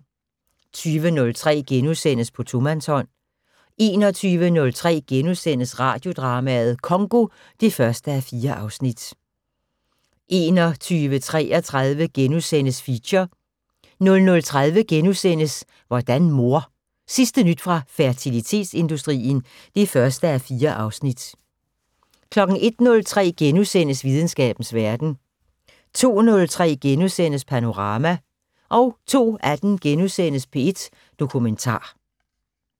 20:03: På tomandshånd * 21:03: Radiodrama: Congo (1:4)* 21:33: Feature * 00:30: Hvordan mor? Sidste nyt fra fertilitetsindustrien (1:4)* 01:03: Videnskabens Verden * 02:03: Panorama * 02:18: P1 Dokumentar *